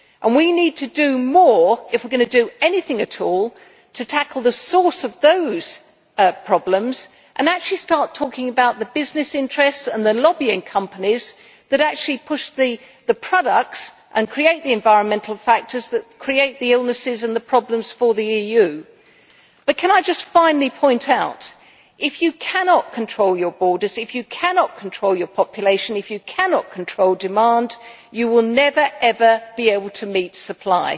We need to do more if we are going do anything at all to tackle the source of those problems and start talking about the business interests and the lobbying companies that push the products and create the environmental factors that create the illnesses and the problems for the EU. I would finally like to point out that if you cannot control your borders, cannot control your population and cannot control demand, you will never, ever be able to meet supply.